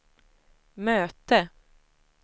möte